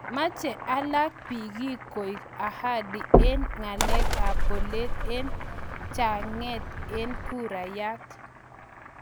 Mache alake pikiik koek ahadi eng ngalek ap polet eng chenget ap kuraiyat